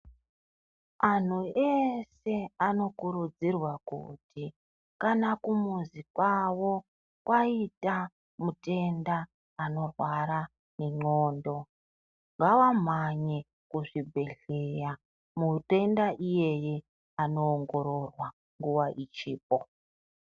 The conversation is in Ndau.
Anhu eshe anokurudzirwa kuti kana kumuzi kwavo kwaita mutenda anorwara ngendxondo ngavamhanye kuzvibhedhleya mutenda iyeye andoongororwa.